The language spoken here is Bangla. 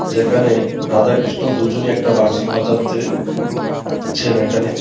যেখানে রাধা কৃষ্ণ দুজনই একটা বাঁশি বাজাচ্ছে ছেন এখানে.